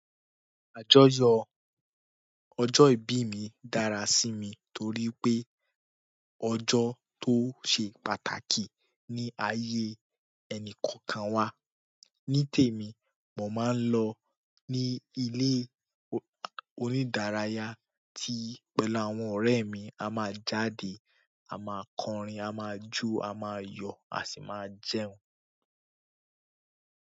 Àjọyọ̀ ọjọ́ ìbí mi dára sí mi torí pé ọjọ́ tó ṣe pàtàkì ní ayé ẹnì kọ̀ọ̀kan wa. Ní tèmi, mo máa ń lọ ní ilé onídáraya ti láwọn ọ̀rẹ́ mi. A máa jáde, a máa kọrin, a máa jó, a máa yọ̀, a si máa jẹun.